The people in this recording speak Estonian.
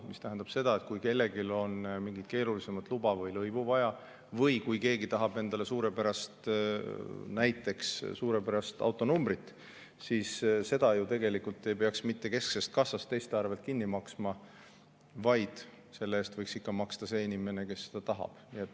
See tähendab seda, et kui kellelgi on mingit keerulisemat luba või lõivu vaja või kui keegi tahab endale näiteks suurepärast autonumbrit, siis seda ju tegelikult ei peaks mitte kesksest kassast teiste arvel kinni maksma, vaid selle eest võiks maksta ikka see inimene, kes seda tahab.